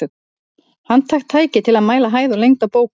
Handhægt tæki til að mæla hæð og lengd á bókum.